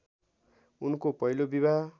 उनको पहिलो विवाह